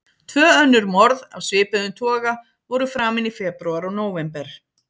Tvö önnur morð af svipuðum toga voru framin í febrúar og nóvember.